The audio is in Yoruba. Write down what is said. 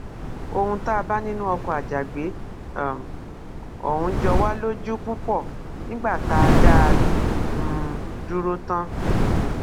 ohun tá a bá nínú ọkọ àjàgbé um ọhún jọ wá lójú púpọ nígbà tá a dá a um dúró tán